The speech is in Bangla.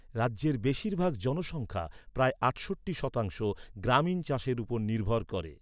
রাজ্যের বেশিরভাগ জনসংখ্যা, প্রায় আটষট্টি শতাংশ, গ্রামীণ চাষের উপর নির্ভর করে।